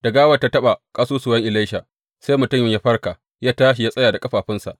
Da gawar ta taɓa ƙasusuwan Elisha, sai mutumin ya farka, ya tashi ya tsaya da ƙafafunsa.